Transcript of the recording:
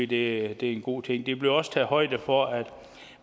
det er en god ting der bliver også taget højde for at